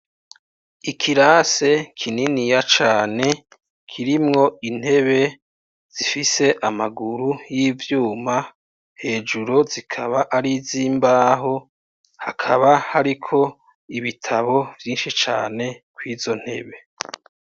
Ikirase kininiya cane kirimwo intebe zifise amaguru y'ivyuma hejuru zikaba ari zoimbaho hakaba hariko ibitabo vyinshi cane ko'izo ntebe.